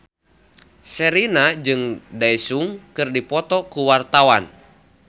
Sherina jeung Daesung keur dipoto ku wartawan